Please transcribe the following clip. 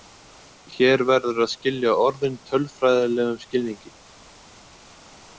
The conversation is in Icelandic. Hér verður að skilja orðin tölfræðilegum skilningi.